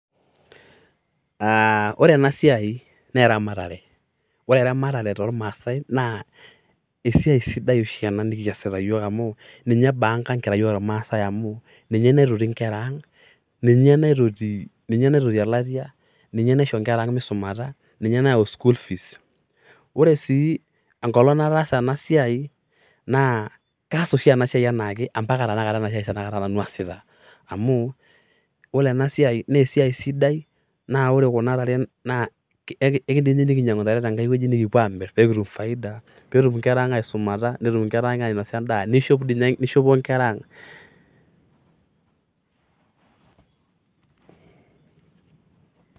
Aaah ore ena siai naa eramatere. Ore eramatare toormaasai naa esiai sidai oshi ena kiasita iyook amuu ninye b ank ang, amuu ninye naitotito nkera ang . Ninye naitoti elatia, ninye naisho nkera ang meisumata, ninye nayau school fees. Ore sii enkolong nataasa enasiai naa kaas oshi ena siai anaake mpaka tanakata nanu aasita. Amuu ore enasiai amuu e esiai sidai naa ore tenakata kuna tare ekindim dii jikinyiangu ntare tenkae wueji nikipuo aamir pee kitum foida peetum inkera ang aisumata netum ainosa endaa neishop dii ninye nkera ang.